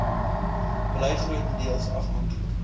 bly grotendeels afhanklik